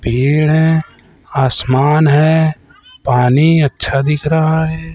पेड़ हैं आसमान है पानी अच्छा दिख रहा है।